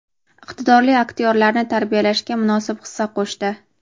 iqtidorli aktyorlarni tarbiyalashga munosib hissa qo‘shdi.